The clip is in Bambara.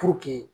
Puruke